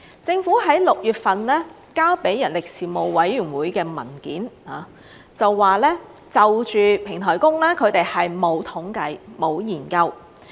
政府在6月份提交給人力事務委員會的文件中說，就平台工，他們是沒有統計，沒有研究。